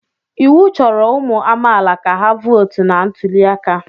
Iwu chọrọ ụmụ amaala ka ha votu na ntuli aka.